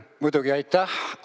Muidugi!